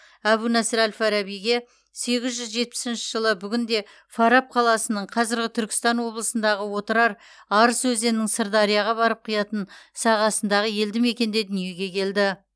әбу насыр әл фарабиге сегіз жүз жетпісінші жылы бүгінде фараб қаласының қазіргі түркістан облысындағы отырар арыс өзенінің сырдарияға барып құятын сағасындағы елді мекенде дүниеге келді